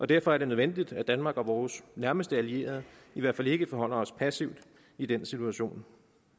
derfor er det nødvendigt at danmark og vores nærmeste allierede i hvert fald ikke forholder os passivt i den situation